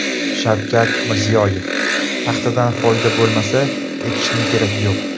Shavkat Mirziyoyev: Paxtadan foyda bo‘lmasa, ekishning keragi yo‘q .